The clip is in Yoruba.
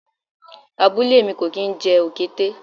Abúlé mi kò kín jẹ Òkété.